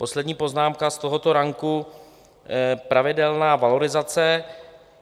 Poslední poznámka z tohoto ranku - pravidelná valorizace.